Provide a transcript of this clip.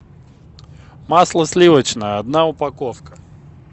масло сливочное одна упаковка